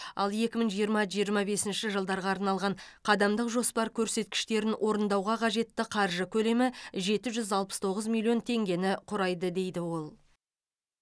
ал екі мың жиырма жиырма бесінші жылдарға арналған қадамдық жоспар көрсеткіштерін орындауға қажетті қаржы көлемі жеті жүз алпыс тоғыз миллион теңгені құрайды дейді ол